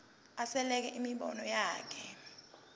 asekele imibono yakhe